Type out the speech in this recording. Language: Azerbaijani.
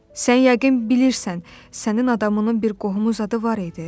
Sən yəqin bilirsən, sənin adamının bir qohumu zadı var idi?